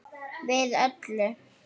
Við öllu.